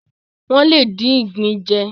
Wọ́n lè dín ìgbín jẹ.